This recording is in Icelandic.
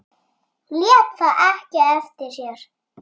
Lét það ekki eftir sér.